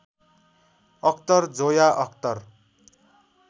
Akhtar Zoya Akhtar